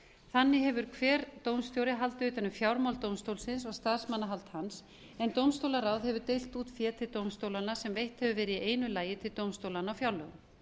þannig hefur hver dómstjóri haldið utan um fjármál dómstólsins og starfsmannahald hans en dómstólaráð hefur deilt út fé til dómstólanna sem veitt hefur verið í einu lagi til dómstólanna á fjárlögum